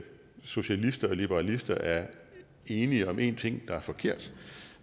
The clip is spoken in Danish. socialister og liberalister er enige om én ting der er forkert